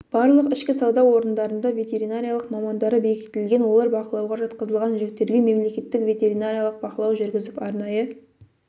барлық ішкі сауда орындарында ветеринариялық мамандары бекітілген олар бақылауға жатқызылған жүктерге мемлекеттік ветеринариялық бақылау жүргізіп арнайы